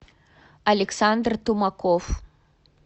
александр тумаков